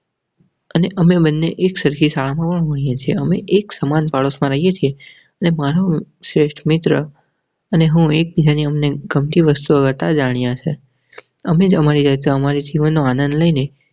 અને અમે મને એક સરખી સાંભળીએ છીએ. અમે એક સમાન પાડોશમાં રહીએ છીએ. અને મારો શ્રેષ્ઠ મિત્ર અને હું એકબીજાને ગમતી વસ્તુ કરતા જાણ્યા સે તમે જ મારી તમારી જીવનનો આનંદ લઇ ને.